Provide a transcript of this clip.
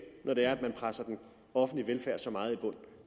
når det er man presser den offentlige velfærd så meget i bund